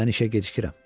Mən işə gecikirəm.